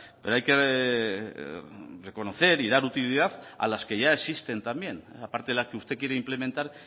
pero hay que reconocer y dar utilidad a las que ya existen también aparte de la que usted quiere implementar